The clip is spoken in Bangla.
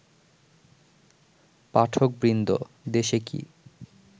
পাঠকবৃন্দ, দেশে কি